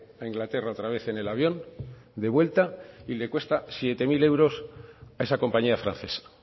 a inglaterra otra vez en el avión de vuelta y le cuesta siete mil euros a esa compañía francesa